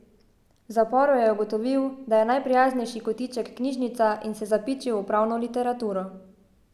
V zaporu je ugotovil, da je najprijaznejši kotiček knjižnica, in se zapičil v pravno literaturo.